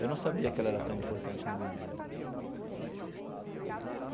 Eu não sabia que ela era tão importante na minha vida.